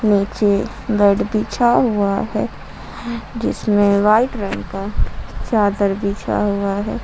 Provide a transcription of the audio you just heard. नीचे बेड बिछा हुआ है जीसमें वाइट रंग का चादर बिछा हुआ है।